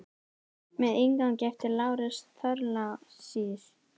Með inngangi eftir Lárus Thorlacius.